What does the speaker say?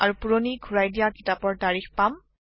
আৰু পুৰণি ঘুৰাই দিয়া কিতাপৰ তাৰিখ পাম